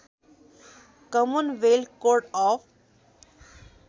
Commonwealth Court of